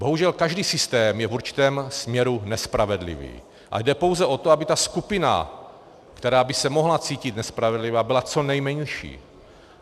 Bohužel každý systém je v určitém směru nespravedlivý a jde pouze o to, aby ta skupina, která by se mohla cítit nespravedlivě, byla co nejmenší.